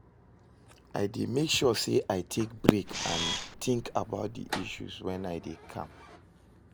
I dey make sure say i take break and think about di issues when i dey calm.